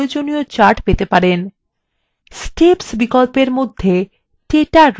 setps বিকল্পর মধ্যে data range named আর একটি বিকল্প আছে